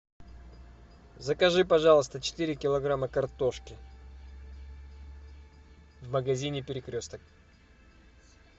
закажи пожалуйста четыре килограмма картошки в магазине перекресток